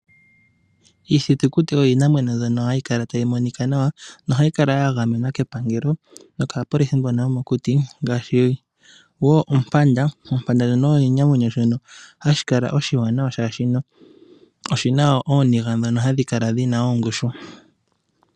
Iithitukuti oyo iinamwenyo mbyono hayi kala tayi monika nawa, nohayi kala wo yagamenwa kepangelo, nokaapolisi mbono yomokuti, ngaashi oompanda. Ompanda osho oshinamwenyo shono hashi kala oshiwanawa, oshoka oshi na ooniga ndhono hadhi kala dhi na ongushu.